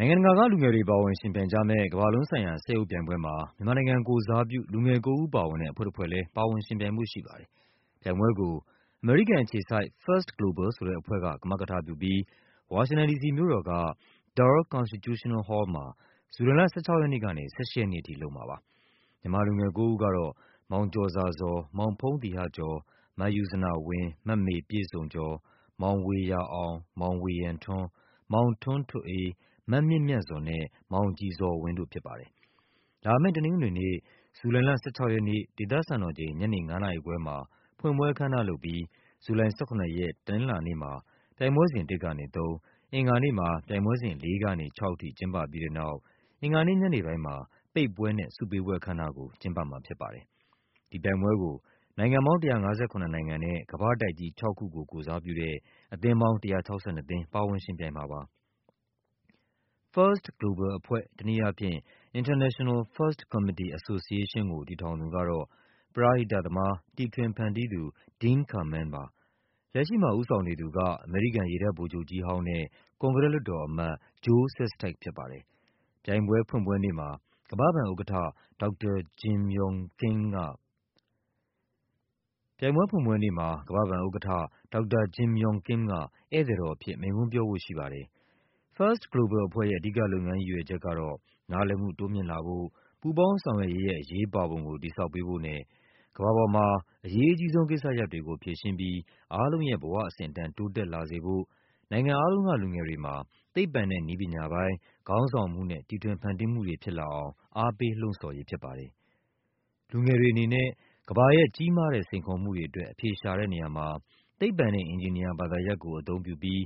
နိုင်ငံတကာကလူငယ်တွေ ပါဝင်ယှဉ်ပြိုင်ကြမယ့် ကမ္ဘာလုံးဆိုင်ရာ စက်ရုပ်ပြိုင်ပွဲမှာ မြန်မာနိုင်ငံ ကိုယ်စားပြု လူငယ် ၉ ဦး ပါဝင်တဲ့ အဖွဲ့တဖွဲ့လည်း ပါဝင်ယှဉ်ပြိုင်ဖို့ ရှိပါတယ်။ ပြိုင်ပွဲကို အမေရိကန်အခြေစိုက် First Global ဆိုတဲ့အဖွဲ့က ကမကထပြုပြီး ဝါရှင်တန်ဒီစီ မြို့တော်က Dar Constitutional Hall မှာ ဇူလိုင် လ ၁၆ ရက်နေ့ကနေ ၁၈ ရက်နေ့အထိ လုပ်မှာပါ။ မြန်မာလူငယ် ၉ ဦးကတော့ မောင်ကျော်ဇာဇော်၊ မောင်ဖုန်းသီဟ ကျော်၊ မယုဇနဝင်း၊ မမေပြည့်စုံကျော်၊ မောင်ဝေယျာအောင်၊ မောင်ဝေယံထွန်း၊ မောင်ထွန်းထွဋ်အေး၊ မမြင့်မြတ်ဇော်နဲ့ မောင်ကြည်ဇော်ဝင်း တို့ဖြစ်ပါတယ်။ လာမယ့် တနင်္ဂနွေနေ့၊ ဇူလိုင်လ ၁၆ ရက်နေ့ ဒေသစံတော်ချိန် ညနေ ၅ နာရီခွဲမှာ ဖွင့်ပွဲအခမ်းအနားလုပ်ပြီး ဇူလိုင် ၁၇ ရက်၊ တနင်္လာနေ့မှာ ပြိုင်ပွဲစဉ် ၁ ကနေ ၃၊ အင်္ဂါနေ့မှာ ပြိုင်ပွဲစဉ် ၄ ကနေ ၆ အထိကျင်းပပြီးတဲ့နောက် အင်္ဂါနေ့ညနေပိုင်းမှာ ပိတ်ပွဲနဲ့ ဆုပေးပွဲ အခမ်းအနားကို ကျင်းပမှာဖြစ်ပါတယ်။ ဒီပြိုင်ပွဲကို နိုင်ငံပေါင်း ၁၅၇ နိုင်ငံနဲ့ ကမ္ဘာ့တိုက်ကြီး ၆ ခုကို ကိုယ်စားပြုတဲ့ အသင်းပေါင်း ၁၆၂ သင်း ပါဝင်ယှဉ်ပြိုင်မှာပါ။ First Global အဖွဲ့ တနည်းအားဖြင့် International First Committee Association ကို တည်ထောင်သူ ကတော့ ပရဟိတသမား တီထွင်ဖန်တီးသူ Dean Kamen ပါ။ လက်ရှိမှာ ဦးဆောင်နေသူက အမေရိကန် ရေတပ်ဗိုလ်ချုပ်ကြီးဟောင်းနဲ့ ကွန်ဂရက် လွှတ်တော်အမတ် Joe Sestak ဖြစ်ပါတယ်။ ပြိုင်ပွဲဖွင့်ပွဲနေ့မှာ ကမ္ဘာ့ဘဏ် ဥက္ကဌ ဒေါက်တာ Jim Yong Kim က ဧည့်သည်တော် အဖြစ် မိန့်ခွန်းပြောဖို့ရှိပါတယ်။ First Global အဖွဲ့ရဲ့ အဓိကလုပ်ငန်းရည်ရွယ်ချက်ကတော့ နားလည်မှုတိုးမြှင့်လာဖို့၊ ပူးပေါင်း ဆောင်ရွက်ရေးရဲ့ အရေးပါပုံကို တည်ဆောက်ပေးဖို့နဲ့ ကမ္ဘာပေါ်မှာ အရေးအကြီးဆုံးကိစ္စရပ်တွေကို ဖြေရှင်းပြီး အားလုံးရဲ့ဘဝအဆင့်အတန်း တိုးတက်လာစေဖို့ နိုင်ငံအားလုံးက လူငယ်တွေမှာ သိပ္ပံနဲ့ နည်းပညာပိုင်း ခေါင်းဆောင်မှုနဲ့ တီထွင်ဖန်တီးမှုတွေဖြစ်လာအောင် အားပေး လှုံ့ဆော်ရေး ဖြစ်ပါတယ်။ လူငယ်တွေအနေနဲ့ ကမ္ဘာရဲ့ ကြီးမားတဲ့ စိန်ခေါ်မှုတွေ အတွက် အဖြေရှာတဲ့နေရာမှာ သိပ္ပံနဲ့ အင်ဂျင်နီယာ ဘာသာရပ်ကို အသုံးပြု ပြီး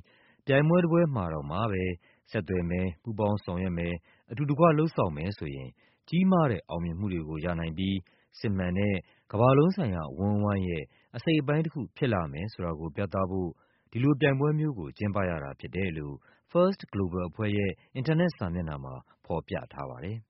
ပြိုင်ပွဲတပွဲမှာတောင်မှပဲ ဆက်သွယ်မယ်၊ ပူးပေါင်းဆောင်ရွက်မယ်၊ အတူတကွ လုပ်ဆောင်မယ်ဆိုရင် ကြီးမားတဲ့ အောင်မြင်မှု တွေကိုရနိုင်ပြီး စစ်မှန်တဲ့ ကမ္ဘာလုံးဆိုင်ရာအဝန်းအဝိုင်းရဲ့ အစိတ်အပိုင်း တခုဖြစ်လာမယ် ဆိုတာကို ပြသဖို့ ဒီလိုပြိုင်ပွဲမျိုးကို ကျင်းပရတာဖြစ်တယ်လို့ First Global အဖွဲ့ရဲ့ အင်တာနက် စာမျက်နှာမှာ ဖော်ပြထားပါတယ်